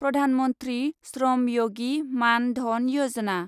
Pradhan Mantri Shram Yogi Maan Dhan Yojana